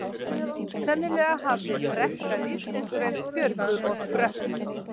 Sennilega hafði brekka lífsins reynst Björgu of brött.